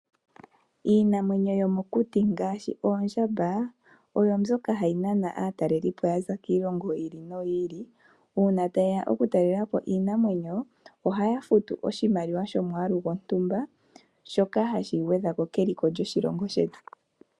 Iinamwenyo yomokuti ngaashi oondjamba oyo mbyoka hayi nana aatalelipo yaza kiilongo yi ili noyi ili . Uuna tayeya okutalelapo iinamwenyo ohaya futu oshimaliwa shomwaalu gwontumba shoka hashi gwedhako keliko lyoshilongo shetu